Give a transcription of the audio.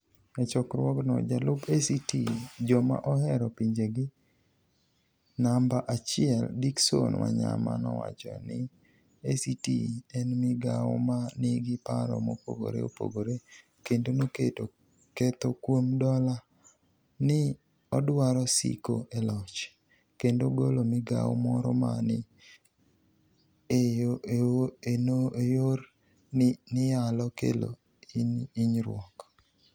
E chokruogno, jalup ACT joma ohero pinijegi niamba achiel, Dicksoni Waniyama nowacho nii ACT eni migao ma niigi paro mopogore opogore, kenido noketo ketho kuom dola nii odwaro siko e loch, kenido golo migao moro ma ni enore nii niyalo kelo hiniyruok.